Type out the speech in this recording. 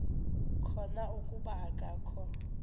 khona kuba akakho